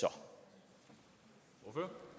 det